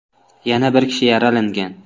Yana bir kishi yaralangan.